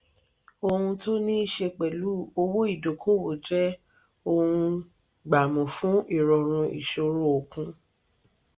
òhun tó niiṣe pẹlu owó ìdókòwò jẹ ohun gbámú fún irọrun ìṣòro okùn.